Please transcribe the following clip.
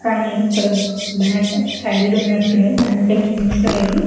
ఇక్కడ back side ఉనట్ ఉంది బ్యాంక్ ఎం కనిపిస్తలేదు